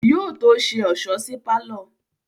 Yóò tó ṣe ọ̀ṣọ́ sí pálọ̀